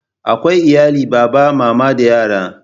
Akwai iyalin baba, mama da yara.